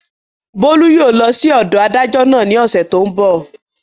Bólú yóò lọ sí ọ̀dọ̀ adájọ́ náà ní ọ̀sẹ̀ tó n bọ̀